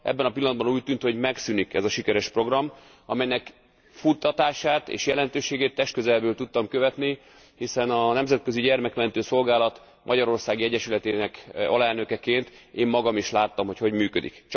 Ebben a pillanatban úgy tűnt, hogy megszűnik ez a sikeres program, amelynek futtatását és jelentőségét testközelből tudtam követni, hiszen a Nemzetközi Gyermekmentő Szolgálat magyarországi egyesületének alelnökeként én magam is láttam, hogy hogy működik.